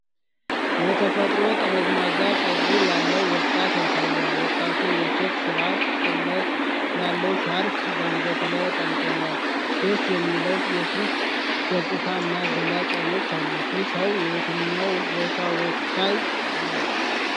የተፈጥሮ ጠመዝማዛ ፀጉር ያለው ወጣት ያሳያል። ወጣቱ የቼክ ስርዓተ-ጥለት ያለው ሻርፕ በአንገቱ ላይ ጠምጥሟል። ደስ የሚል የፊት ገፅታ እና ገላጭ አይኖች አሉት። ይህ ሰው የየትኛው ጎሳ ወካይ ነው?